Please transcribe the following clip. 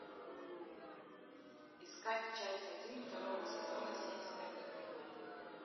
искать часть один второго сезона семь смертных грехов